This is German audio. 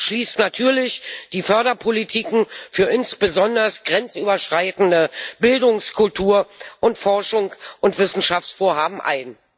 Das schließt natürlich die Förderpolitik insbesondere für grenzüberschreitende Bildungs Kultur Forschungs und Wissenschaftsvorhaben ein.